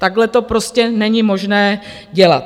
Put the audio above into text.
Takhle to prostě není možné dělat.